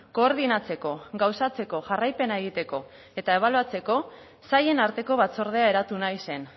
koordinatzeko gauzatzeko jarraipena egiteko eta ebaluatzeko sailen arteko batzordea eratu nahi zen